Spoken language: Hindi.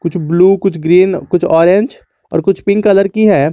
कुछ ब्ल्यू कुछ ग्रीन कुछ ऑरेंज और कुछ पिंक कलर की है।